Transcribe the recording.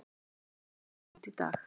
Nýr listi kom út í dag